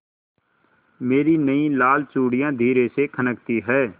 मेरी नयी लाल चूड़ियाँ धीरे से खनकती हैं